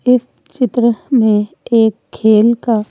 इस चित्र में एक खेल का--